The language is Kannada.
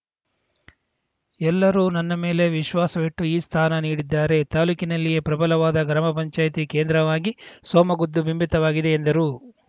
ಎಲ್ಲರೂ ನನ್ನ ಮೇಲೆ ವಿಶ್ವಾಸವಿಟ್ಟು ಈ ಸ್ಥಾನ ನೀಡಿದ್ದಾರೆ ತಾಲೂಕಿನಲ್ಲಿಯೇ ಪ್ರಬಲವಾದ ಗ್ರಾಮ ಪಂಚಾಯಿತಿ ಕೇಂದ್ರವಾಗಿ ಸೋಮಗುದ್ದು ಬಿಂಬಿತವಾಗಿದೆ ಎಂದರು